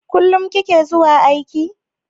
Kullum kike zuwa aiki?